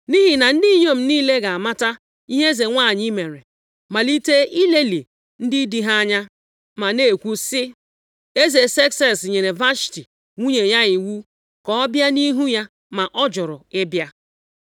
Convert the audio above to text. Nʼihi na ndị inyom niile ga-amata ihe eze nwanyị mere, malite ilelị ndị di ha anya, ma na-ekwu sị, ‘Eze Sekses nyere Vashti nwunye ya iwu ka ọ bịa nʼihu ya, ma ọ jụrụ ịbịa.’